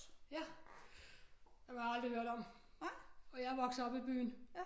Ja dem har jeg aldrig hørt om og jeg er vokset op i byen